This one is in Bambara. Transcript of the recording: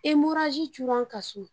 cunna n kan so